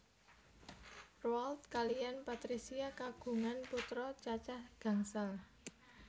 Roald kaliyan Patricia kagungan putra cacah gangsal